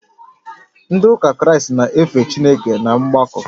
Ndị ụka kraịstị na-efe Chineke n’ọgbakọ